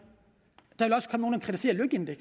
vil